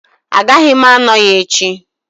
Agaghị m anọ ya echi